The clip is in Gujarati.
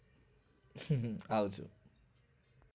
હમ્મ આવજો